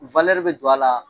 bɛ don a la